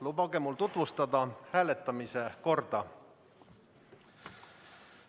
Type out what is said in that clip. Lubage mul tutvustada hääletamise korda.